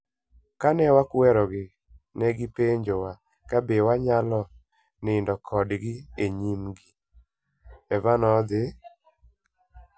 Kane wakwerogi, ne gipenjowa kabe wanyalo nindo kodgi e nyimgi". Eva nothi mbele